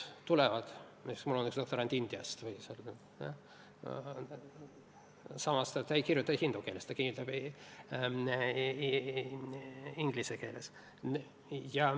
Mul on üks doktorant Indiast, aga ta ei kirjuta hindi keeles, ta kirjutab inglise keeles.